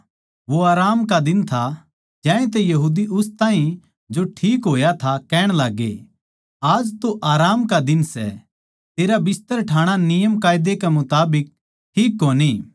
वो आराम का दिन था ज्यांतै यहूदी उस ताहीं जो ठीक होया था कहण लाग्गे आज तै आराम का दिन सै तेरा बिस्तर ठाणा ठीक कोनी